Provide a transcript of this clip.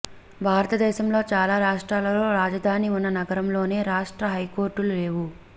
భారతదేశంలోని చాలా రాష్ట్రాలలో రాజధాని ఉన్న నగరంలోనే రాష్ట్ర హైకోర్టులు లేవు